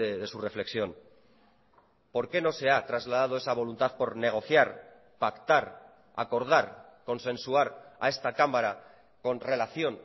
de su reflexión por qué no se ha trasladado esa voluntad por negociar pactar acordar consensuar a esta cámara con relación